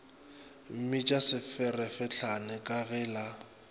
mmitša seferefetlane ka ge la